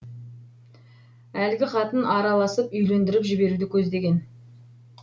әлгі қатын араласып үйлендіріп жіберуді көздеген